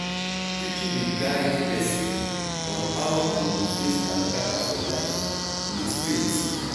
preaching dey guide pesin on how im go face kata-kata for life with faith.